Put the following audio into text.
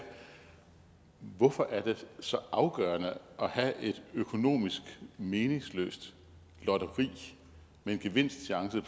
hvorfor er det så afgørende at have et økonomisk meningsløst lotteri med en gevinstchance